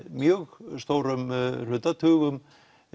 mjög stórum hluta tugum